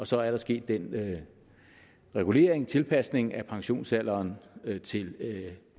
så er der sket en regulering eller tilpasning af pensionsalderen til